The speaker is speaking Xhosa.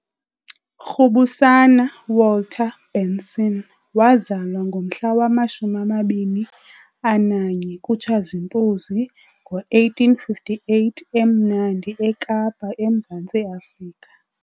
Rhubusana Walter Benson wazalwa ngomhla wama-21 kuTshazimpuzi ngo-1858 eMnandi eKapa eMzantsi Afrika.